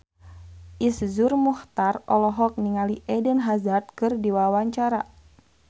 Iszur Muchtar olohok ningali Eden Hazard keur diwawancara